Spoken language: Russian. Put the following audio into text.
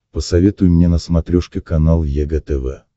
посоветуй мне на смотрешке канал егэ тв